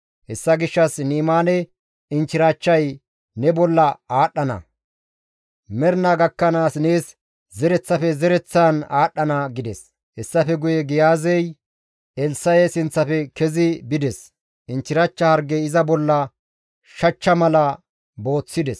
Hessa gishshas Ni7imaane inchchirachchay ne bolla aadhdhana; mernaa gakkanaas nees zereththafe zereththaan aadhdhana» gides. Hessafe guye Giyaazey Elssa7e sinththafe kezi bides; inchchirachcha hargey iza bollaa shachcha mala booththides.